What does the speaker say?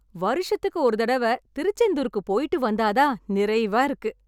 வருஷத்துக்கு ஒரு தடவை திருச்செந்தூர்க்கு போயிட்டு வந்தா தான் நிறைவா இருக்கு.